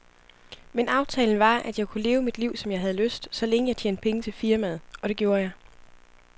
Men aftalen var, at jeg kunne leve mit liv, som jeg havde lyst, så længe jeg tjente penge til firmaet, og det gjorde jeg.